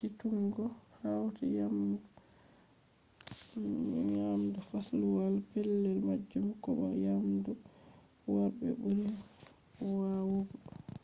hacituggo hauti yamdu fasluwal pellel majum ko bo yamdu worɓe ɓuri wawugo